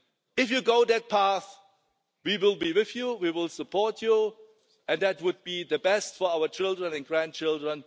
If you go that path, we will be with you, we will support you, and that would be the best for our children and grandchildren.